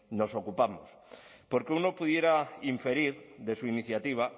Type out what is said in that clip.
nos ocupamos porque uno pudiera inferir de su iniciativa